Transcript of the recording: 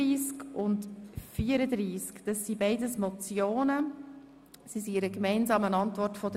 Es handelt sich um Motionen, welche die Regierung gemeinsam beantwortet hat.